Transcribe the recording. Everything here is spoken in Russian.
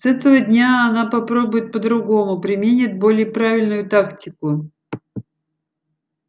с этого дня она попробует по-другому применит более правильную тактику